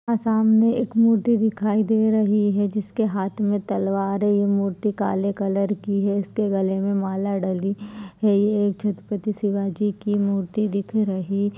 सामने एक मूर्ति दिखाई दे रही है जिसके हाथ मे तलवार है ये मूर्ति काले कलर की है इसके गले मे माला डली है यह एक छत्रपति शिवाजी की मूर्ति दिख रही--